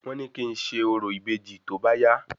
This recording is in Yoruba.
Wọ́n ní kí ń ṣe orò ìbejì tóbá yá